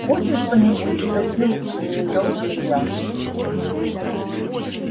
хочешь что-нибудь спросил у неё илья